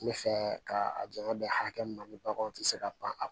N bɛ fɛ ka a janya bɛn hakɛ min ma ni baganw tɛ se ka pan